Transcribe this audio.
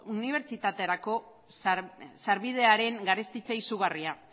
unibertsitaterako sarbidearen garestitze izugarria